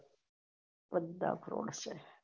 બધા froud છે